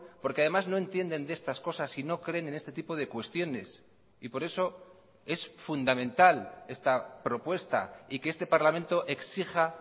porque además no entienden de estas cosas y no creen en este tipo de cuestiones y por eso es fundamental esta propuesta y que este parlamento exija